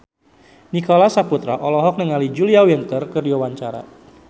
Nicholas Saputra olohok ningali Julia Winter keur diwawancara